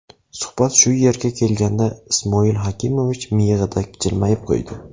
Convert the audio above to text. Suhbat shu yerga kelganda Ismoil Hakimovich miyig‘ida jilmayib qo‘ydi.